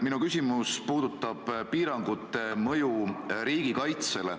Minu küsimus puudutab piirangute mõju riigikaitsele.